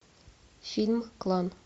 фильм клан